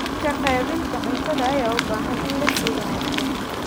Habka qaybinta cuntada ayaa u baahan in la sii wanaajiyo.